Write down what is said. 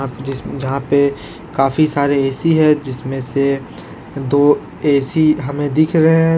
जिस जहां पे काफी सारे ए_सी है जिसमें से दो एक हमें दिख रहे--